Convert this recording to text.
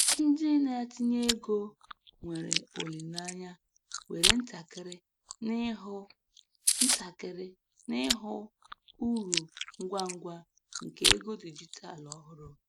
Ndị na-etinye ego nwere olileanya were ntakịrị n'ịhụ ntakịrị n'ịhụ uru ngwa ngwa nke ego dijitalụ ọhụrụ.